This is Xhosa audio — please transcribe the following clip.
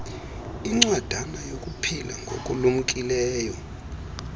incwadana yokuphila ngokulumkileyo